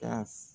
Ka